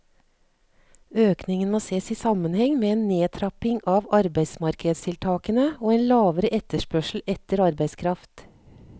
Økningen må ses i sammenheng med en nedtrapping av arbeidsmarkedstiltakene og en lavere etterspørsel etter arbeidskraft.